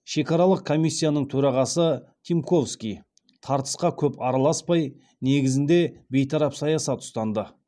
шекаралық комиссияның төрағасы тимковский тартысқа көп араласпай негізінде бейтарап саясат ұстанды